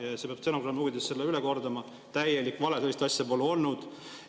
Selle peab stenogrammi huvides üle kordama: täielik vale, sellist asja pole olnud.